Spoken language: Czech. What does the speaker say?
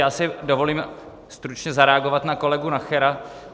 Já si dovolím stručně zareagovat na kolegu Nachera.